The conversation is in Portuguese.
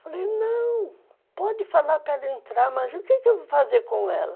Falei, não, pode falar para ela entrar, mas o que eu vou fazer com ela?